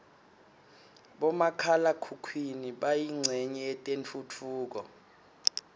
bomakhala khukhwini bayincenye yetentfutfuko